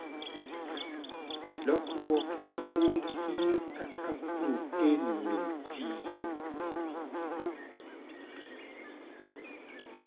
Lokruok e gund hinyo kaka proten no tio